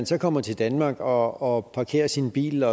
så kommer til danmark og parkerer sin bil